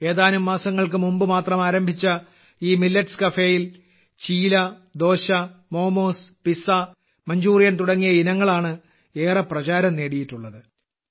ഏതാനും മാസങ്ങൾക്ക് മുമ്പുമാത്രം ആരംഭിച്ച ഈ മില്ലറ്റ്സ് കഫേയിൽ ചീല ദോശ മോമോസ് പിസ്സ മഞ്ചൂറിയൻ തുടങ്ങിയ ഇനങ്ങളാണ് ഏറെ പ്രചാരം നേടിയിട്ടുള്ളത്